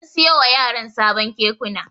An siyo wa yaran sabon Kekuna.